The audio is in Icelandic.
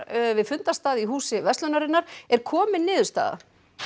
við fundarstað í Húsi verslunarinnar er komin niðurstaða